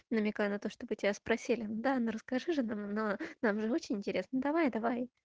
намекаю на то чтобы тебя спросили дана расскажи же но нам же очень интересно давай давай